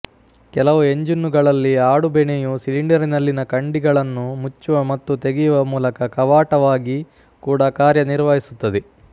ಕೆಲವು ಎಂಜಿನ್ನುಗಳಲ್ಲಿ ಆಡುಬೆಣೆಯು ಸಿಲಿಂಡರಿನಲ್ಲಿನ ಕಂಡಿಗಳನ್ನು ಮುಚ್ಚುವ ಮತ್ತು ತೆಗೆಯುವ ಮೂಲಕ ಕವಾಟವಾಗಿ ಕೂಡ ಕಾರ್ಯನಿರ್ವಹಿಸುತ್ತದೆ